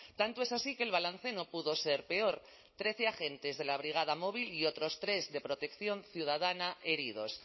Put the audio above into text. tanto es así que el balance no pudo ser peor trece agentes de la brigada móvil y otros tres de protección ciudadana heridos